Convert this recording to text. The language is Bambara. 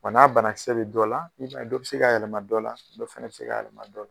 Wa n'a bana kisɛ be dɔ la i b'a ye dɔ bi se k'a yɛlɛma dɔ la, dɔ fɛnɛ bi se k'a yɛlɛma dɔ la